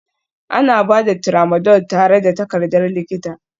Ana ba da Tramadol tare da takardar likita